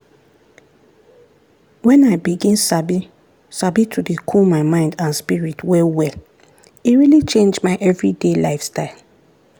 when i begin sabi sabi to dey cool my mind and spirit well well e really change my everyday lifestyle.